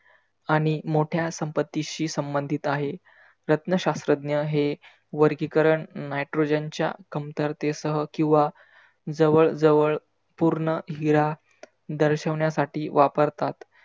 आणि मोठ्या संपत्तीशी संबधीत आहे. रत्नशास्रज्ञ हे वर्गिकरण nitrogen च्या कमरते सह किंवा जवळ जवळ पुर्ण हिरा दर्शवण्यासाठी वापरतात.